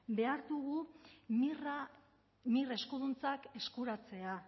behar dugu mir eskuduntzak eskuratzea